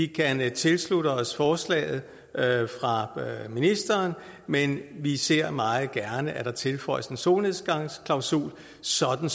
kan vi tilslutte os forslaget fra ministeren men vi ser meget gerne at der tilføjes en solnedgangsklausul sådan